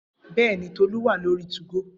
Bẹẹni, Tolu wa lori 2go.